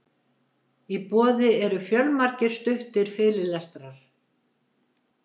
í boði eru fjölmargir stuttir fyrirlestrar